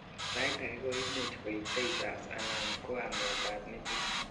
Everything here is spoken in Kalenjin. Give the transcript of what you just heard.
sait agei koimuch koib seizures anan ko amet ab metit